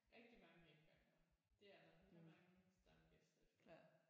Rigtig mange gengangere det er der rimelig mange stamgæster vi får